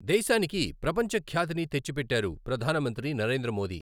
దేశానికి ప్రపంచఖ్యాతిని తెచ్చిపెట్టారు ప్రధాన మంత్రి నరేంద్ర మోదీ.